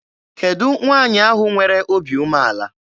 Kedụ nwaanyị ahụ nwere obi umeala?